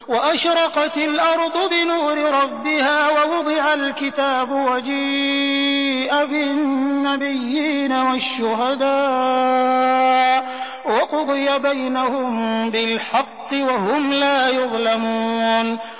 وَأَشْرَقَتِ الْأَرْضُ بِنُورِ رَبِّهَا وَوُضِعَ الْكِتَابُ وَجِيءَ بِالنَّبِيِّينَ وَالشُّهَدَاءِ وَقُضِيَ بَيْنَهُم بِالْحَقِّ وَهُمْ لَا يُظْلَمُونَ